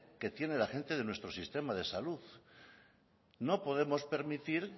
que tiene la gente de nuestro sistema de salud no podemos permitir